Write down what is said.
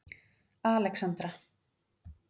Alexandra